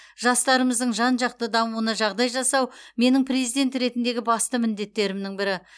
жастарымыздың жан жақты дамуына жағдай жасау менің президент ретіндегі басты міндеттерімнің бірі